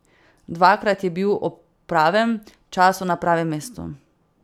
Dvakrat je bil ob pravem času na pravem mestu.